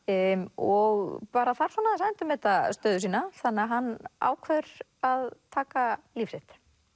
og bara þarf aðeins að endurmeta stöðu sína þannig að hann ákveður að taka líf sitt